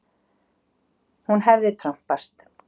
Hún hefði trompast.